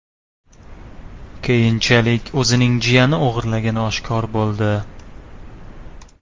Keyinchalik o‘zining jiyani o‘g‘irlagani oshkor bo‘ldi.